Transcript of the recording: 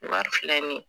Wari filɛ nin ye